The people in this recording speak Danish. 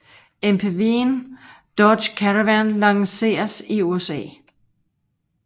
MPVen Dodge Caravan lanceres i USA